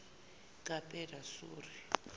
kapedasori